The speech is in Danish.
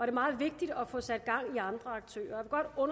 er meget vigtigt at få sat gang i andre aktører og